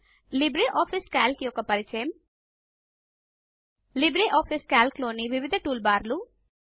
LibreOffice calc యొక్క పరియము LibreOffice calc లోని వివిధ టూల్ బార్లు